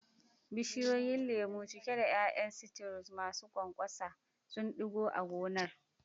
Bishiyoyin lemu, cike da ƴaƴan citrus masu ƙwanƙwasa, sun ɗigo a gonar.